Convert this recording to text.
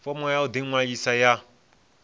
fomo ya u ḓiṅwalisa ya